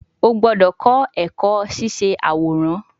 O gbọdọ kọ ẹkọ ṣiṣe aworan